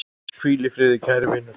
Hvíl í friði, kæri vinur!